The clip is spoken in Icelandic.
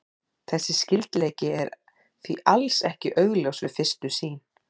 Þessi skyldleiki er því alls ekki augljós við fyrstu sýn.